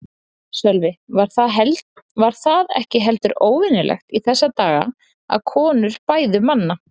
Sölvi: Var það ekki heldur óvenjulegt í þessa daga að konur bæðu manna?